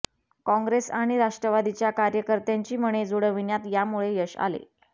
कॉंग्रेस आणि राष्ट्रवादीच्या कार्यकर्त्यांची मने जुळवण्यात यामुळे यश आले